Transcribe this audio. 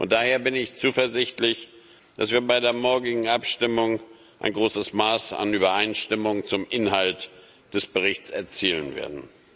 Daher bin ich zuversichtlich, dass wir bei der morgigen Abstimmung ein großes Maß an Übereinstimmung zum Inhalt des Berichts erzielen werden.